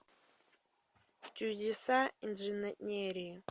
чудеса инженерии